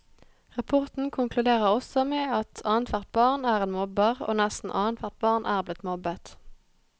Rapporten konkluderer også med at annethvert barn er en mobber, og nesten annethvert barn er blitt mobbet.